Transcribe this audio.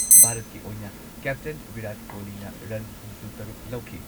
ꯚꯥꯔꯠꯀꯤ ꯑꯣꯏꯅ ꯀꯦꯞꯇꯦꯟ ꯚꯤꯔꯥꯠ ꯀꯣꯍꯂꯤꯅ ꯔꯟ ꯍꯨꯝꯐꯨꯇꯔꯨꯛ ꯂꯧꯈꯤ꯫